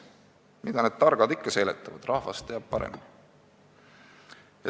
Mida need targad ikka seletavad, rahvas teab paremini.